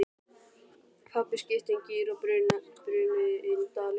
Pabbi skipti um gír og þau brunuðu inn dalinn.